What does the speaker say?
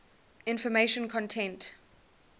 information content